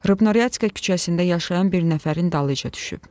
Rıbno Ryadka küçəsində yaşayan bir nəfərin dalınca düşüb.